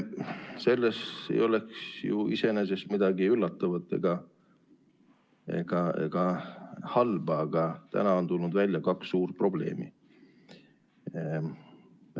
Selles ei oleks ju iseenesest midagi üllatavat ega halba, aga täna on tulnud välja kaks suurt probleemi.